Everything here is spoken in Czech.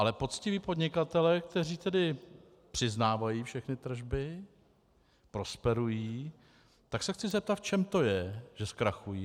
Ale poctiví podnikatelé, kteří tedy přiznávají všechny tržby, prosperují, tak se chci zeptat, v čem to je, že zkrachují.